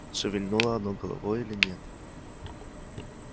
шевельнуло оно головой или нет